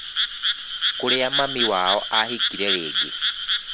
Kũria mami wao ahikire rĩngĩ